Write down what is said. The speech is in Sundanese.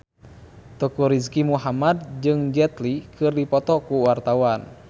Teuku Rizky Muhammad jeung Jet Li keur dipoto ku wartawan